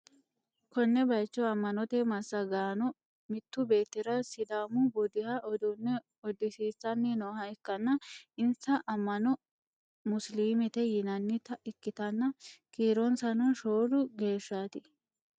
konne bayicho amma'note massagaano mittu beettira sidaamu budiha uduunne uddisiissanni nooha ikkanna, insa amma'no musiliimete yinannita ikkitanna, kiironsano shoolu geeshshaati..